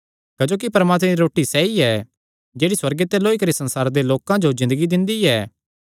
क्जोकि परमात्मे दी रोटी सैई ऐ जेह्ड़ी सुअर्गे ते लौई करी संसारे दे लोकां जो ज़िन्दगी दिंदी ऐ